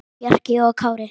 Bjarki og Kári.